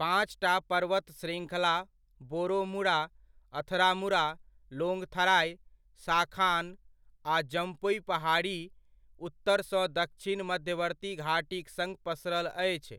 पाँचटा पर्वत शृङ्खला बोरोमुरा, अथरामुरा, लोंगथराइ, शाखान आ जम्पुइ पहाड़ी उत्तर सँ दच्छिन मध्यवर्ती घाटीक सङ्ग पसरल अछि,